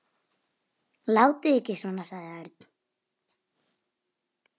Látið ekki svona sagði Örn.